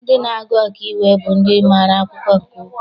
Ndị na-agụ ọkaiwu bụ ndị mara akwụkwọ nke ukwuu.